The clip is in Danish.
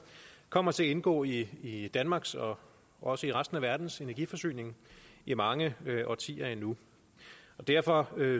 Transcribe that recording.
kommer til at indgå i danmarks og også i resten af verdens energiforsyning i mange årtier endnu og derfor